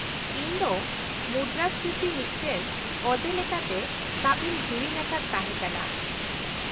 -ᱤᱧ ᱫᱚ ᱢᱩᱫᱽᱨᱟᱹᱥᱯᱷᱤᱛᱤ ᱢᱤᱫᱴᱟᱝ ᱚᱡᱮ ᱞᱮᱠᱟᱛᱮ ᱥᱟᱵ ᱤᱧ ᱦᱤᱲᱤᱧ ᱟᱠᱟᱫ ᱛᱟᱦᱮᱸᱠᱟᱱᱟ ᱾